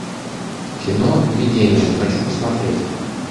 кино видение хочу посмотреть